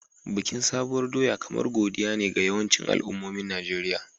Bikin Sabuwar doya kamar Godiya ne ga yawancin al'ummomin Najeriya.